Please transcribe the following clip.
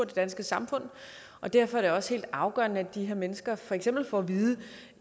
det danske samfund og derfor er det også helt afgørende at de her mennesker for eksempel får at vide at